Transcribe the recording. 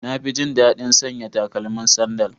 Na fi jin daɗin sanya takalmin sandal.